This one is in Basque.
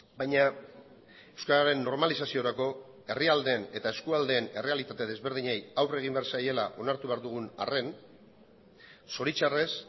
baina euskararen normalizaziorako herrialdeen eta eskualdeen errealitate desberdinei aurre egin behar zaiela onartu behar dugun arren zoritxarrez